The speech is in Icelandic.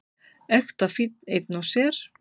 Ekta fínn einn og sér.